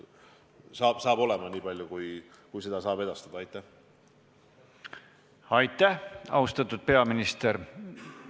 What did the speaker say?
Aitäh, austatud peaminister!